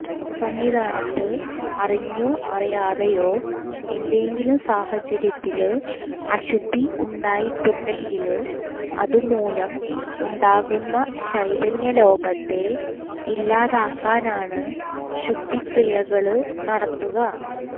സന്നിധാനത്ത് അറിഞ്ഞോ അറിയാതയോ ഏതെങ്കിലും സാഹചര്യത്തില് അശുദ്ധി ഉണ്ടായിട്ടുണ്ടങ്കില് അതുമൂലം ഉണ്ടാകുന്ന ചൈതന്യലോപത്തെ ഇല്ലാതാക്കനാണ് ശുദ്ധിക്രിയകള് നടത്തുക